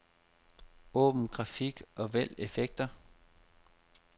Åbn grafik og vælg effekter.